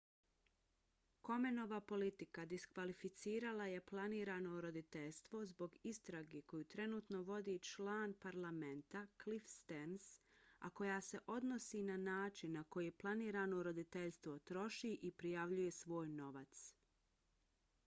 komenova politika diskvalificirala je planirano roditeljstvo zbog istrage koju trenutno vodi član parlamenta cliff stearns a koja se odnosi na način na koji planirano roditeljstvo troši i prijavljuje svoj novac